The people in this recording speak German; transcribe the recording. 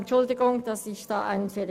Entschuldigen Sie bitte meinen Fehler.